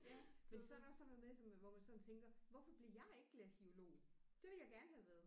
Ja men så er der også sådan noget med sådan hvor man sådan tænker hvorfor blev jeg ikke glaciolog det ville jeg gerne have været